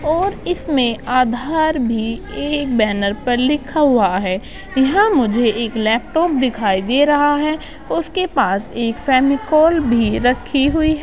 और इसमें आधार भी एक बैनर पर लिखा हुआ है। यहाँ मुझे एक लैपटॉप दिखाई दे रहा है उसके पास एक फेमिकोल भी रखी हुई है।